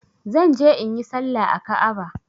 Zan je inyi salla a Ka'aba.